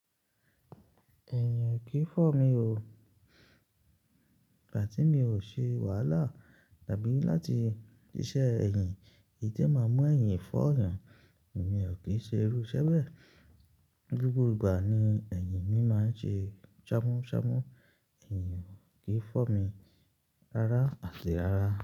Ẹ̀yìn ò kí fọ́ mi o. Ìgbà tí mi ò ṣe wàhálà tàbí láti ṣíṣe ẹ̀yìn, èyí tí ẹ máa mú ẹ̀yìn fọ́ èyàn, èmi ò kí ṣe irú iṣẹ́ bẹ. Gbogbo ìgbà ni ẹ̀yìn mi máa ń ṣe ṣámúṣámú, ẹ̀yìn ò kí fọ́ mi rárá àti rárá.